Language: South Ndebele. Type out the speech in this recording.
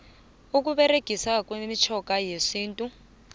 ukuberegiswa kwemitjhoga yesintu